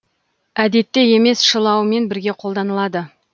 әдетте емес шылауымен бірге қолданылады